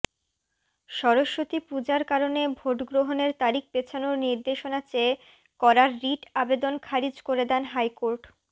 সরস্বতী পূজার কারণে ভোটগ্রহণের তারিখ পেছানোর নির্দেশনা চেয়ে করা রিট আবেদন খারিজ করে দেন হাইকোর্ট